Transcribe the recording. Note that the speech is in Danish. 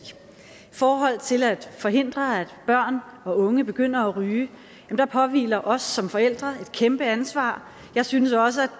forhold til at forhindre at børn og unge begynder at ryge påhviler der os som forældre et kæmpe ansvar jeg synes også